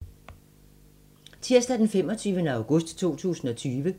Tirsdag d. 25. august 2020